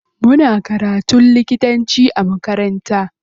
Muna karatun likitanci a makaranta.